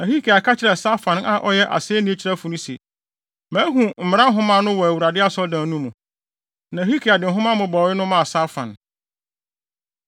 Na Hilkia ka kyerɛɛ Safan a ɔyɛ asennii kyerɛwfo no se, “Mahu mmara nhoma no wɔ Awurade Asɔredan no mu.” Na Hilkia de nhoma mmobɔwee no maa Safan.